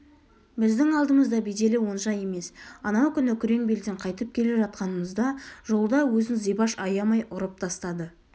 біздің алдымызда беделі онша емес анау күні күреңбелден қайтып келе жатқанымызда жолда өзін зибаш аямай ұрып тастады